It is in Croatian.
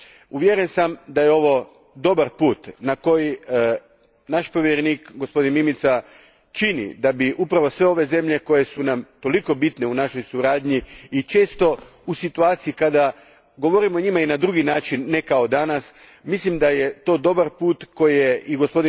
Uvjeren sam da je ovo dobar put na koji, naš povjerenik Mimica, čini da bi upravo sve one zemlje koje su nam toliko bitne u našoj suradnji i često u situaciji, kada o njima govorimo na drugi način, ne kao danas. Mislim da je to dobar put koji je i g.